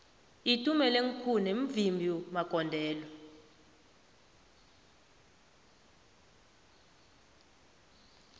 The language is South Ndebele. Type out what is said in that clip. uitumelengkhune mvimbi magondelo